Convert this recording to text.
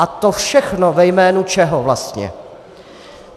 A to všechno ve jménu čeho vlastně?